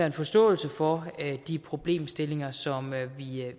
en forståelse for de problemstillinger som